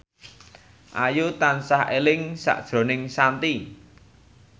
Ayu tansah eling sakjroning Shanti